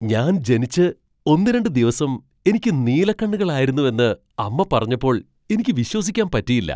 ഞാൻ ജനിച്ച് ഒന്നുരണ്ട് ദിവസം എനിക്ക് നീലക്കണ്ണുകളായിരുന്നുവെന്ന് അമ്മ പറഞ്ഞപ്പോൾ എനിക്ക് വിശ്വസിക്കാൻ പറ്റിയില്ല.